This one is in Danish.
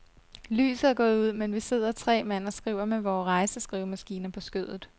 Lyset er gået ud, men vi sidder tre mand og skriver med vore rejseskrivemaskiner på skødet.